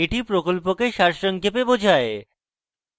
এটি প্রকল্পকে সারসংক্ষেপে বোঝায়